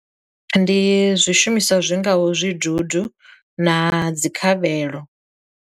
Ndi zwishumiswa zwi ngaho zwidudu na dzi khavhelo.